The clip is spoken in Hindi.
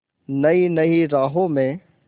नई नई राहों में